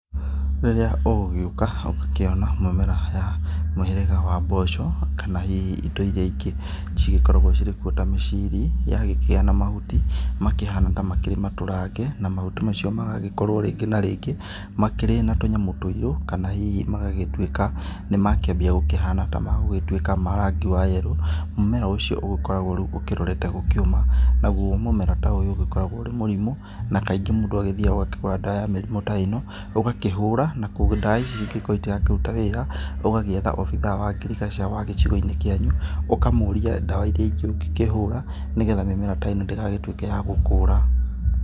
Rĩrĩrĩa ũgũgĩũka ũgakĩona mĩmera ya mũhĩrĩga wa mboco kana hihi indo iria ingĩ cigĩkoragwo cirĩkuo ta mĩciri. Yagĩkĩgĩa na mahuti makĩhana tarĩ matũrange na mahuti macio magagĩkorwo rĩngĩ na rĩngĩ makĩrĩ na tũnyamũ tuĩrũ kana hihi magagĩtuĩka nĩ makĩambia gũkĩhana nĩ magũgĩtuĩka marangi wa yerũ. Mũmera ũcio ũgĩkoragwo rĩu ũkĩrorete gũkĩũma, naguo mũmera ta ũyũ ũgĩkoragwo ũrĩ mũrimũ. Na kaingĩ mũndũ agĩthiaga agakĩgũra ndawa ya mĩrimũ ta ĩno ũgakĩhũra na ndawa ici angĩgĩkorwo itirakĩruta wĩra, ũgagĩetha wabithaa wa ngirigaca wa gĩcigo-inĩ kĩanyu ũkamũria ndawa iria ingĩ ũngĩkĩhũra nĩ getha mĩmera ta ĩno ndĩgagĩtuĩke ya gũkũra.